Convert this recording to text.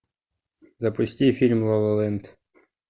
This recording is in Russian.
запусти фильм ла ла ленд